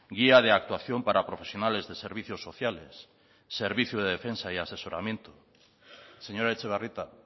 guía de actuación para profesionales de servicios sociales servicio de defensa y asesoramiento señora etxebarrieta